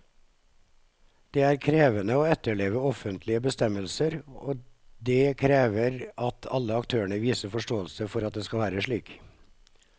Det er krevende å etterleve offentlige bestemmelser, og det krever at alle aktørene viser forståelse for at det skal være slik.